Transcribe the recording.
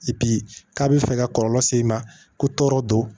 k'a bɛ fɛ ka kɔlɔlɔ se i ma ko tɔɔrɔ don